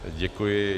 Děkuji.